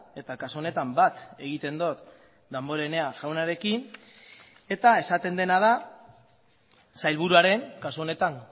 eta kasu honetan bat egiten dut damborenea jaunarekin eta esaten dena da sailburuaren kasu honetan